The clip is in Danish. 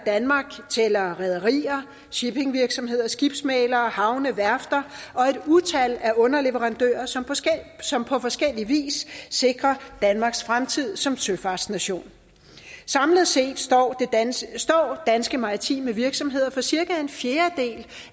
danmark tæller rederier shippingvirksomheder skibsmæglere havne værfter og et utal af underleverandører som som på forskellig vis sikrer danmarks fremtid som søfartsnation samlet set står danske står danske maritime virksomheder for cirka en fjerdedel